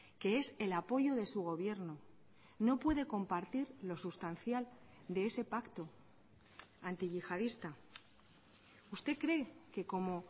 que es el apoyo de su gobierno no puede compartir lo sustancial de ese pacto antiyihadista usted cree que como